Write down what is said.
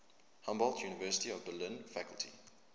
humboldt university of berlin faculty